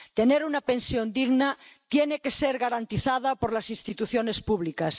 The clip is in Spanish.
Tener una pensión digna tiene que estar garantizado por las instituciones públicas.